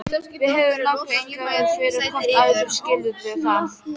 Við höfum nákvæmlega engan áhuga fyrir hvort öðru, skilurðu það?